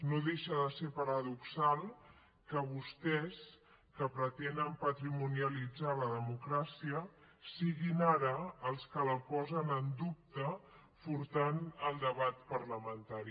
no deixa de ser paradoxal que vostès que pretenen patrimonialitzar la democràcia siguin ara els que la posen en dubte furtant el debat parlamentari